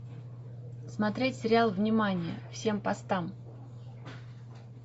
смотреть сериал внимание всем постам